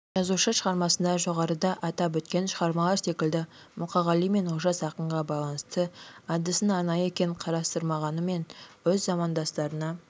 жазушы шығармасында жоғарыда атап өткен шығармалар секілді мұқағали мен олжас ақынға байланысты әдісін арнайы кең қарастырмағанымен өз замандастарына